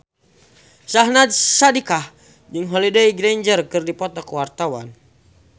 Syahnaz Sadiqah jeung Holliday Grainger keur dipoto ku wartawan